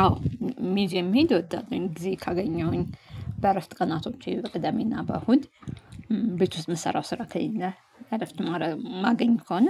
አዎ ሚዜም መሄድ እወዳለሁኝ ጊዜ ካገኘሁኝ በዕረፍት ቀናቶቼ በቅደሜና በእሁድ። ቤት ውስጥ እምሰራው ስራ ከሌለ እረፍት እማገኝ ከሆነ።